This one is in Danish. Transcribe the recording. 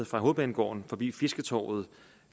fra hovedbanegården forbi fisketorvet